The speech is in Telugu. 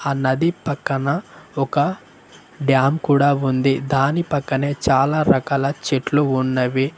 ఆ నది పక్కన ఒక డ్యామ్ కూడా ఉంది దాని పక్కనే చాలా రకాల చెట్లు ఉన్నవి.